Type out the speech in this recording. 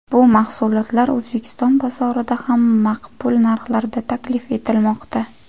Bu mahsulotlar O‘zbekiston bozorida ham maqbul narxlarda taklif etilmoqda.